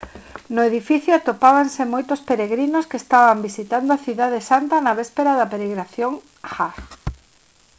no edificio atopábanse moitos peregrinos que estaban visitando a cidade santa na véspera da peregrinación hajj